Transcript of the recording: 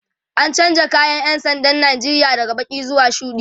an chanza kayan ƴan sandan Nigeria daga Baki zuwa shuɗi